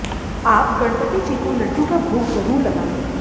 आप गणपति जी को लड्डू का भोग ज़रूर लगाएं